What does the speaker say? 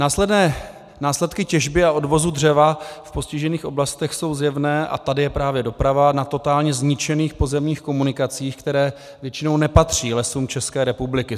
Následky těžby a odvozu dřeva v postižených oblastech jsou zjevné - a tady je právě doprava - na totálně zničených pozemních komunikacích, které většinou nepatří Lesům České republiky.